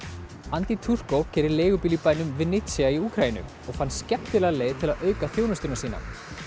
andiy Turko keyrir leigubíl í bænum í Úkraínu og fann skemmtilega leið til að auka þjónustuna sína